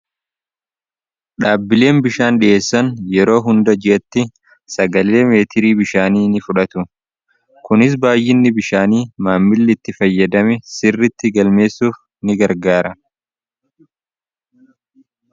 dhaabbileen bishaan dhi'eessan yeroo hunda ji'atti sagalee meetirii bishaanii ni fudhatu kunis baay'inni bishaanii maammili itti fayyadame sirritti galmeessuuf ni gargaara